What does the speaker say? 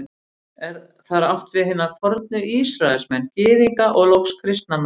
Er þar átt við hina fornu Ísraelsmenn, Gyðinga og loks kristna menn.